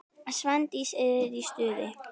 Svandís er í stuði.